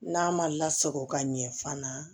N'a ma lasago ka ɲɛ fana